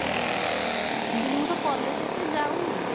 ମୁଁ କହିଲି ମୁଁ ତ college ଏତେ ଯାଉନି